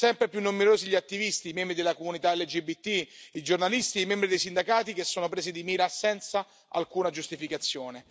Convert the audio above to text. Sono sempre più numerosi gli attivisti, i membri della comunità LGBTI, i giornalisti e i membri dei sindacati che sono presi di mira senza alcuna giustificazione.